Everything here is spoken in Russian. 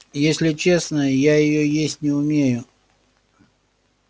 если честно я её есть не умею